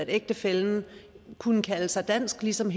ægtefælle kunne kalde sig dansk ligesom